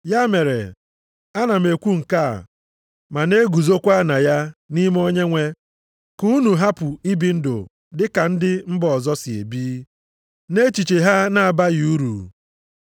Ya mere, ana m ekwu nke a, ma na-eguzokwa na ya nʼime Onyenwe, ka unu hapụ ibi ndụ dị ka ndị mba ọzọ si ebi, na echiche ha na-abaghị uru.